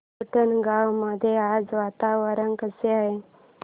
उंडणगांव मध्ये आज वातावरण कसे आहे